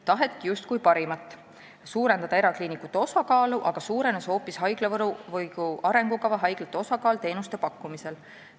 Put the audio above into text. Taheti justkui parimat – suurendada erakliinikute osakaalu, aga suurenes hoopis haiglavõrgu arengukava haiglate osakaal teenuste pakkumisel.